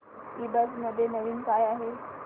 ईबझ मध्ये नवीन काय आहे